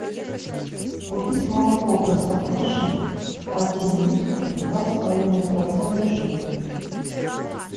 купить молоко простоквашино один литр два с половиной процента жирности